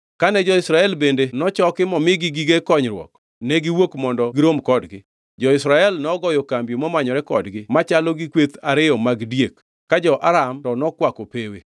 Kane jo-Israel bende nochoki momigi gige konyruok, ne giwuok mondo girom kodgi. Jo-Israel nogoyo kambi momanyore kodgi machalo gi kweth ariyo mag diek, ka jo-Aram to nokwako pewe.